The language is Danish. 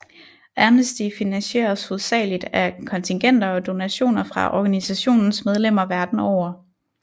Amnesty finansieres hovedsageligt af kontingenter og donationer fra organisationens medlemmer verden over